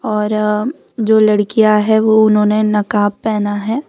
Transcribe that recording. और जो लड़कियां हैं वो उन्होंने नकाब पहना है।